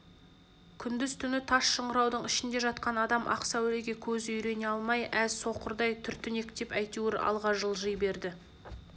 күндіз-түні тас шыңыраудың ішінде жатқан адам ақ сәулеге көзі үйрене алмай әз соқырдай түртінектеп әйтеуір алға жылжи берді